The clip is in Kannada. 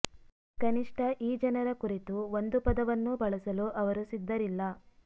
ಕನಿಷ್ಟ ಈ ಜನರ ಕುರಿತು ಒಂದು ಪದವನ್ನೂ ಬಳಸಲು ಅವರು ಸಿದ್ದರಿಲ್ಲ